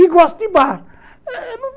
E gosto de bar.